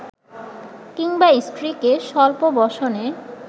কিংবা স্ত্রীকে স্বল্প বসনে